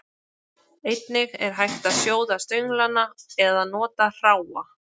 Einnig er hægt að sjóða stönglana eða nota hráa.